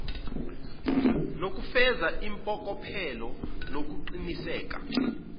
nokufeza impokophelelo nokuqiniseka